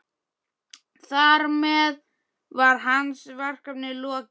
Þar með var hans verkefni lokið.